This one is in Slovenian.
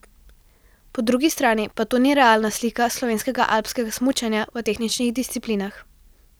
Po drugi strani pa to ni realna slika slovenskega alpskega smučanja v tehničnih disciplinah.